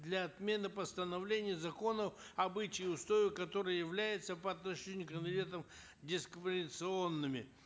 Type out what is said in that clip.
для отмены постановления и законов обычаи и устои которых являются по отношению к инвалидам дисквалификационными